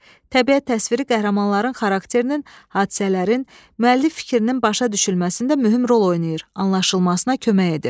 Təbiət təsviri qəhrəmanların xarakterinin, hadisələrin, müəllif fikrinin başa düşülməsində mühüm rol oynayır, anlaşılmasına kömək edir.